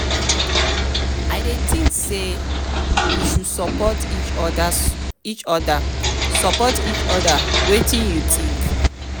i dey think say we should support each oda support each oda wetin you think?